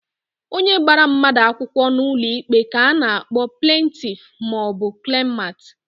Onye gbara mmadu akwukwo n'ulo ikpe ka a na-akpo plentif ma o bu klemant.